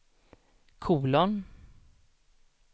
kolon